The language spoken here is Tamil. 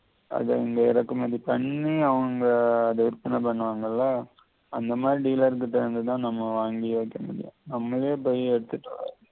அத இங்க இறக்குமதி பண்ணி அவங்க அத எடுக்கணும் இப்ப நாங்கெல்லாம் அந்த மாதி dealer கிட்ட இருந்து தான் நம்ம வாங்கி வெக்கமுடியும் நம்மளே போயி எடுத்திட்டு வர முடியாது